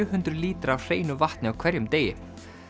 hundruð lítra af hreinu vatni á hverjum degi